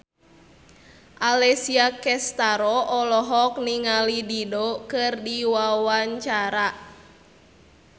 Alessia Cestaro olohok ningali Dido keur diwawancara